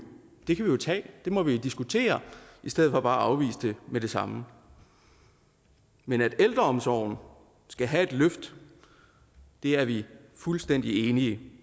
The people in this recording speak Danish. tage det må man diskutere i stedet for bare at afvise det med det samme men at ældreomsorgen skal have et løft er vi fuldstændig enige